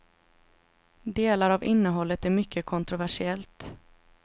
Delar av innehållet är mycket kontroversiellt.